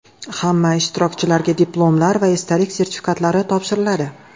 Hamma ishtirokchilarga diplomlar va esdalik sertifikatlari topshiriladi.